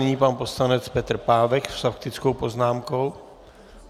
Nyní pan poslanec Petr Pávek s faktickou poznámkou.